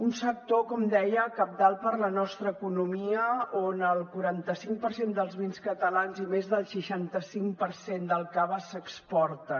un sector com deia cabdal per a la nostra economia on el quaranta cinc per cent dels vins catalans i més del seixanta cinc per cent del cava s’exporten